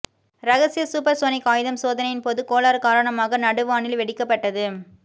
ரகசிய சூப்பர்சோனிக் ஆயுதம் சோதனையின் போது கோளாறு காரணமாக நடுவானில் வெடிக்கப்பட்டது